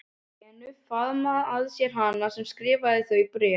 Lenu, faðma að sér hana sem skrifaði þau bréf.